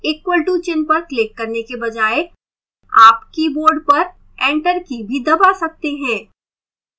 equal to चिन्ह पर click करने के बजाय आप keyboard पर enter की भी दबा सकते हैं